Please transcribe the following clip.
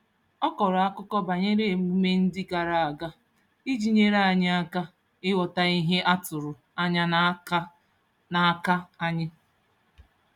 Ọ kọrọ akụkọ banyere emume ndị gara aga iji nyere anyị aka ịghọta ihe a tụrụ anya n'aka n'aka anyị.